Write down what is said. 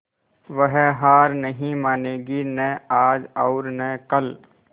वह हार नहीं मानेगी न आज और न कल